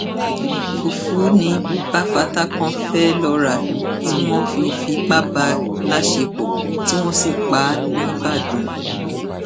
fùfù ni bafatákan fee lọọ rà tí wọn fi fipá bá a láṣepọ tí wọn sì pa á nìbàdàn